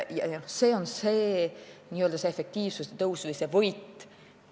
See on see efektiivsuse tõus või võit.